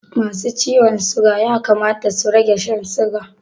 Masu ciwon siga ya kamata su rage Shan siga